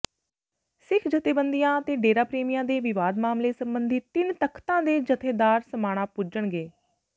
ਸਿੱਖ ਜਥੇਬੰਦੀਆਂ ਤੇ ਡੇਰਾ ਪ੍ਰੇਮੀਆਂ ਦੇ ਵਿਵਾਦ ਮਾਮਲੇ ਸਬੰਧੀ ਤਿੰਨ ਤਖ਼ਤਾਂ ਦੇ ਜਥੇਦਾਰ ਸਮਾਣਾ ਪੁੱਜਣਗੇ